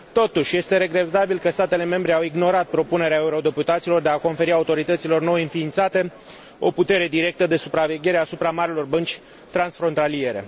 Totuși, este regretabil că statele membre au ignorat propunerea eurodeputaților de a conferi autorităților nou înființate o putere directă de supraveghere asupra marilor bănci transfrontaliere.